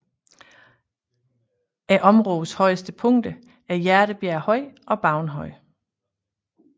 Områdets højeste punkter er Hjertebjerg Høj og Baun Høj